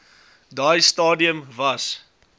daai stadium was